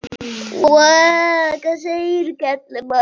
bensínstöð á Íslandi og segja henni að ég elski hana.